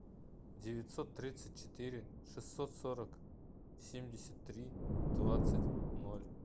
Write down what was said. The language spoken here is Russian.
девятьсот тридцать четыре шестьсот сорок семьдесят три двадцать ноль